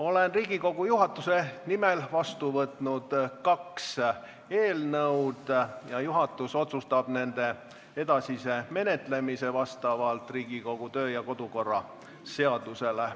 Olen Riigikogu juhatuse nimel vastu võtnud kaks eelnõu ja juhatus otsustab nende edasise menetlemise vastavalt Riigikogu kodu- ja töökorra seadusele.